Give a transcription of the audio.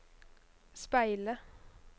speile